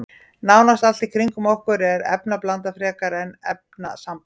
Nánast allt í kringum okkur er efnablanda frekar en efnasamband.